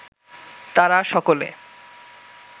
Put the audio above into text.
তারা সকলে